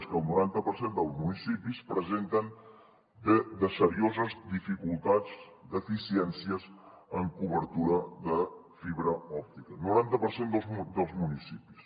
és que el noranta per cent dels municipis presenten serioses dificultats deficiències en cobertura de fibra òptica noranta per cent dels municipis